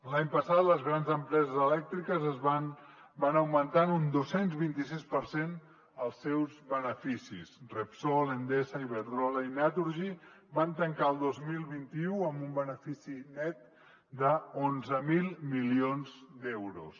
l’any passat les grans empreses elèctriques van augmentar en un dos cents i vint sis per cent els seus beneficis repsol endesa iberdrola i naturgy van tancar el dos mil vint u amb un benefici net d’onze mil milions d’euros